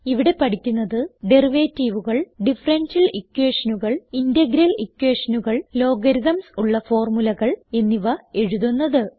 ഇവിടെ പഠിക്കുന്നത് Derivativeകൾ ഡിഫറൻഷ്യൽ equationകൾ ഇന്റഗ്രൽ equationകൾ ലോഗരിത്മ്സ് ഉള്ള ഫോർമുലകൾ എന്നിവ എഴുതുന്നത്